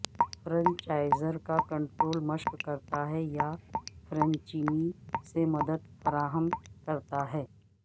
franchiser کا control مشق کرتا ہے یا فرنچینی سے مدد فراہم کرتا ہے